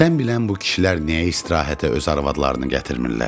Sən bilən bu kişilər niyə istirahətə öz arvadlarını gətirmirlər?